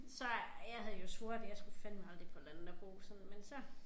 Så jeg havde jo svoret jeg skulle fandeme aldrig på landet at bo sådan men så